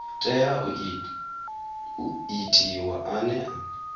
tea u itiwa ane a